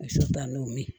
Misi ban'o min